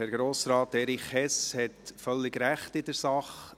Herr Grossrat Erich Hess hat völlig Recht in der Sache.